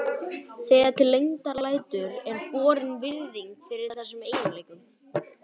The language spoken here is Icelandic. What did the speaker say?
Þegar til lengdar lætur er borin virðing fyrir þessum eiginleikum.